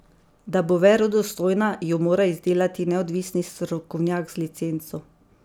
Da bo verodostojna, jo mora izdelati neodvisni strokovnjak z licenco.